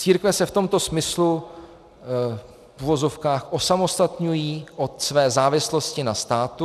Církve se v tomto smyslu v uvozovkách osamostatňují od své závislosti na státu.